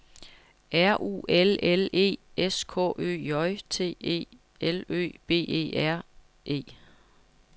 R U L L E S K Ø J T E L Ø B E R E